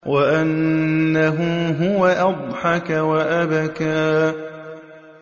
وَأَنَّهُ هُوَ أَضْحَكَ وَأَبْكَىٰ